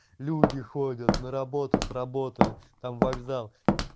люди ходят на работу с работы там вокзал